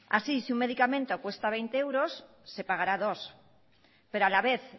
así si un medicamento cuesta veinte euros se pagará dos pero a la vez